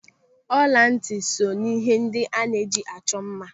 Ọlantị so n'ihe ndị a na-eji achọ mma.